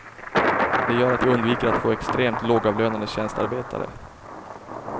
Det gör att vi undviker att få extremt lågavlönade tjänstearbetare.